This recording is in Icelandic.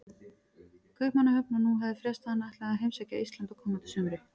Kaupmannahöfn, og nú hafði frést að hann ætlaði að heimsækja Ísland á komandi sumri.